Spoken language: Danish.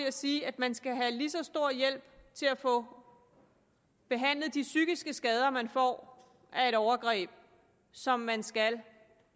at sige at man skal have lige så stor hjælp til at få behandlet de psykiske skader man får af et overgreb som man skal